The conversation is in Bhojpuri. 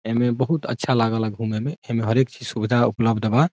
एमें बहुत अच्छा लागला घूमे में एमें हर एक चीज़ सुविधा उपलब्ध बा।